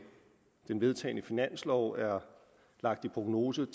den vedtagne finanslov er prognosen